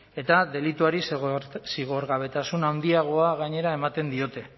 eta delituari zigorgabetasun handiagoa gainera ematen diote